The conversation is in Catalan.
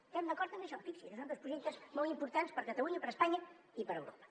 estem d’acord en això fixi’s i són dos projectes molt importants per a catalunya per a espanya i per a europa